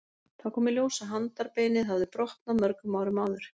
Þá kom í ljós að handarbeinið hafði brotnað mörgum árum áður.